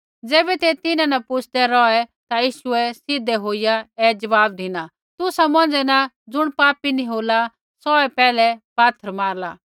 ज़ैबै ते तिन्हां न पुच्छदे रौहै ता यीशुऐ सीधा होईया ऐ ज़वाब धिना तुसा मौन्झा न ज़ुण पापी नी होला सौहै पैहलै पात्थर मारला